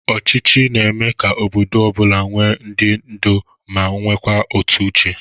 Ọchịchị na-eme ka obodo ọ bụla nwe ndị ndu ma nwekwa otu Uche.